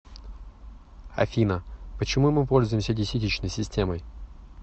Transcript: афина почему мы пользуемся десятичной системой